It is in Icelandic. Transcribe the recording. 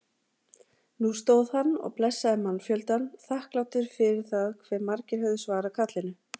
Nú stóð hann og blessaði mannfjöldann, þakklátur fyrir það hve margir höfðu svarað kallinu.